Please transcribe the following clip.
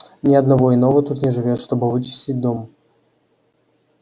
ни одного иного тут не живёт чтобы вычистить дом